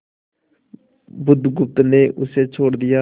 बुधगुप्त ने उसे छोड़ दिया